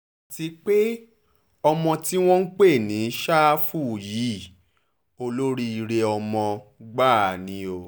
àti pé ọmọ tí wọ́n ń pè ní ṣáfù yìí olóríire ọmọ gbáà ni o